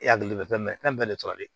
E hakili bɛ fɛn mɛn fɛn bɛɛ de tora ale